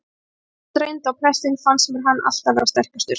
Og þegar mest reyndi á prestinn fannst mér hann alltaf verða sterkastur.